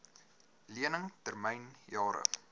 lening termyn jare